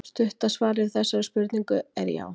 Stutta svarið við þessari spurningu er já.